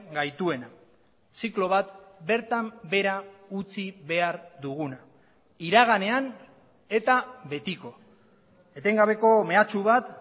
gaituena ziklo bat bertan behera utzi behar duguna iraganean eta betiko etengabeko mehatxu bat